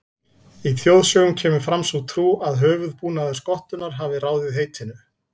Í þjóðsögum kemur fram sú trú að höfuðbúnaður skottunnar hafi ráðið heitinu.